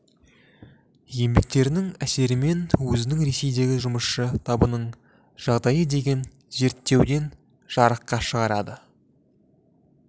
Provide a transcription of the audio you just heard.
еңбектерінің әсерімен өзінің ресейдегі жұмысшы табының жағдайы деген зерттеуін жарыққа шығарды